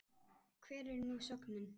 Hver er nú sögnin?